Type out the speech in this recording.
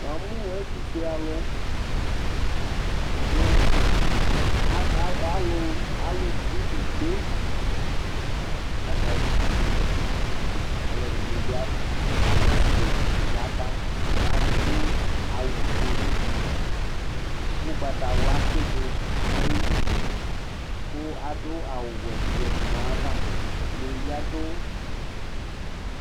ɑmũ ɛtufuɛɑlu ạkɑ ɑlụvi ïkpé ɑkɑvi ïkpɛ ɔloɗiɲkɑsɛsɛ yɑbɑ ɑɗụ ạwụ ɲωti ωkpɑtɑwlɑ tsiɗuɲɑyili ku ɑɗụ ɑwũwẽɲɑyɑvɑ ɛɗɲibiɑɗʊ